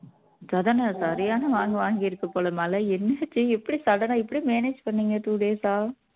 சரியான வாங்கு வாங்கி இருக்க போல மழை என்னாச்சு எப்படி sudden ஆ இப்படி manage பண்ணீங்க two days ஆ